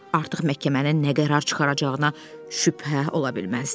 Artıq məhkəmənin nə qərar çıxaracağına şübhə ola bilməzdi.